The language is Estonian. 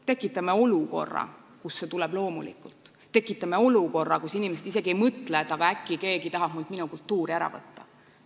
Tekitame olukorra, kus see tuleb loomulikult, tekitame olukorra, kus inimesed isegi ei mõtle, et aga äkki keegi tahab mult minu kultuuri ära võtta.